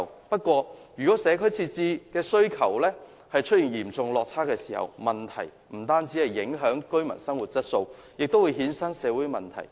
不過，一旦社區設施的需求出現嚴重落差，將不僅會影響居民的生活質素，更會衍生社會問題。